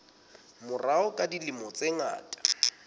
morao ka dilemo tse ngata